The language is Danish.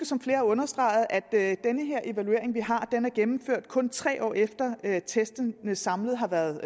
som flere har understreget huske at den her evaluering vi har er gennemført kun tre år efter at testene samlet har været